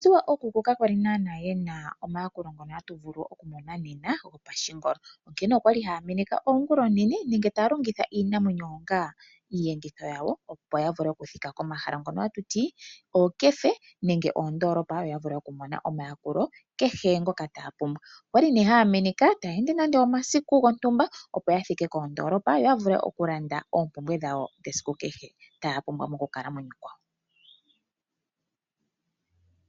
Ookuku ka kwali naana yena omayakulo ngono hatu vulu okumona nena gopashingolo, onkene okwali haya meneka oongula oonene nenge taya longitha iinamwenyo onga iiyenditho yawo opo ya vule okuthika komahala ngono hatuti ookefe nenge oondoolopa yo ya vule okumona omayakulo kehe ngoka taya pumbwa. Okwali ne haya meneka taya ende nande omasiku gontumba opo yathike koondoolopa yo ya vule okulanda oompumbwe dhawo dhesiku kehe taya pumbwa mokukalamwenyo kwawo.